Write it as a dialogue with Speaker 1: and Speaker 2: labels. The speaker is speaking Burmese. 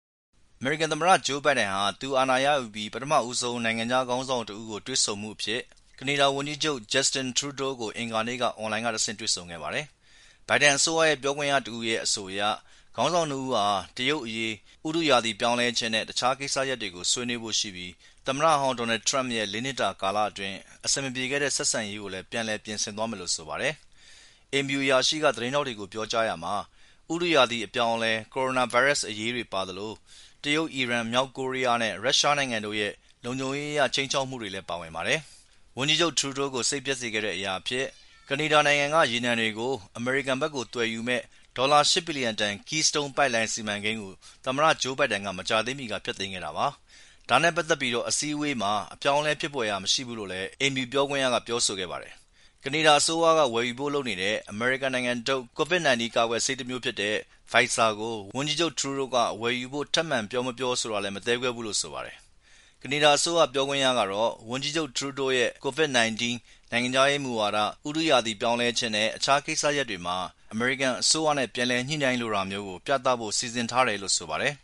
Speaker 1: အမေရိကန်သမ္မတ ဂျိူးဘိုင်ဒန်ဟာ သူအာဏာရယူပြီး ပထမဦးဆုံး နိုင်ငံခြားခေါင်းဆောင်တဦးကို တွေ့ ဆုံမှုအဖြစ် ကနေဒါ ဝန်ကြီးချုပ် Justin Trudeau ကို အင်္ဂါနေ့မှာ အွန်လိုင်းကတဆင့် တွေ့ဆုံခဲ့ပါတယ်။ ဘိုင်ဒန်အစိုးရ ပြောခွင့်ရတဦးရဲ့ အဆိုအရ ခေါင်းဆောင်နှစ်ဦးဟာ တရုတ်အရေး၊ ဥတုရာသီပြောင်းလဲခြင်းနဲ့တခြားကိစ္စရပ်တွေကို ဆွေးနွေးဖို့ရှိပြီး သမ္မတဟောင်းဒေါ်နယ်ထရမ့်ရဲ့ လေးနှစ်တာ ကာလအတွင်း အဆင်မပြေခဲ့တဲ့ ဆက်ဆံရေးကိုလည်း ပြန်လည်ပြင်ဆင်သွားမယ်လို့ဆိုပါတယ်။ အိမ်ဖြူတော်အရာရှိက သတင်းထောက်တွေကို ပြောကြားရာမှာ ဥတုရာသီအပြောင်းအလဲ၊ ကိုရိုနာဗိုင်းရပ်စ် အရေးတွေပါသလို တရုတ်၊ အီရန်၊ မြောက်ကိုရီးယားနဲ့ရုရှားနိုင်ငံတို့ရဲ့ လုံခြုံရေးအရ ခြိမ်းခြောက်မှုတွေလည်း ပါဝင်ပါတယ်။ ဝန်ကြီးချုပ် Trudeau ကို စိတ်ပျက်စေခဲ့တဲ့ အရာအဖြစ် ကနေဒါက ရေနံတွေကို အမေရိကန်ဘက် သွယ်ယူမယ့် ဒေါ်လာ ၈ ဘီလျံတန် Keystone ပိုက်လိုင်းစီမံကိန်းကို သမ္မတ ဂျိူးဘိုင်ဒန်က မကြာသေးမီက ဖျက်သိမ်းခဲ့တာပါ။ ဒါနဲ့ပက်သက်ပြီး အစည်းအဝေမှာ အပြောင်းအလဲ ဖြစ်ဖွယ်ရာမရှိဘူးလို့လည်း အိမ်ဖြူတော် ပြောခွင့်ရက ပြောဆိုခဲ့ပါတယ်။ ကနေဒါအစိုးရက ဝယ်ယူဖို့လုပ်နေတဲ့ အမေရိကန်နိုင်ငံထုတ် COVID- 19 ကာကွယ်ဆေးတမျိူးဖြစ်တဲ့ Pfizer ကို ဝန်ကြီးချုပ် Trudeau ဝယ်ယူဖို့ ထပ်ပြော မပြောဆိုတာ မသဲကွဲဘူးလို့ဆိုပါတယ်။ ကနေဒါအစိုးရ ပြောခွင့်ရကတော့ ဝန်ကြီးချုပ် Trudeau အနေနဲ့ COVID- 19 ၊ နိုင်ငံခြားရေးမူဝါဒ၊ ဥတုရာသီပြောင်းလဲခြင်းနဲ့ အခြားကိစ္စရပ်တွေမှာ အမေရိကန်အစိုးရနဲ့ ပြန်လည်ညှိနှိုင်းလိုတာမျိူး ပြသဖို့စီစဉ်ထားတယ်လို့ဆိုပါတယ်